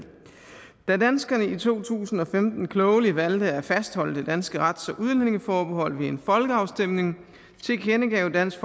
da danskerne i to tusind og femten klogelig valgte at fastholde det danske rets og udlændingeforbehold ved en folkeafstemning tilkendegav dansk